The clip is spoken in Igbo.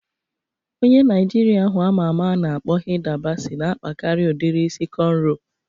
Onye Naịjirịa ahụ ama ama a na-akpọ Hida Basi na-akpakarị udiri isi kọnro